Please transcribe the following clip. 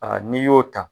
n'i y'o ta